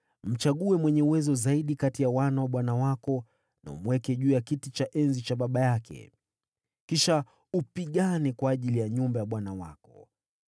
mchague mwenye uwezo zaidi kati ya wana wa bwana wako, na umweke juu ya kiti cha enzi cha baba yake. Kisha upigane kwa ajili ya nyumba ya bwana wako.”